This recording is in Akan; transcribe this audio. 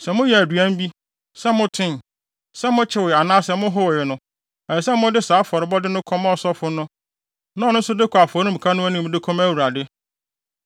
Sɛ moyɛ aduan bi, sɛ motoe, sɛ mokyewee anaasɛ mohowee no, ɛsɛ sɛ mode saa afɔrebɔde no kɔma ɔsɔfo na ɔno nso de kɔ afɔremuka no anim de kɔma Awurade.